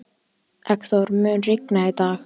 Eggþór, mun rigna í dag?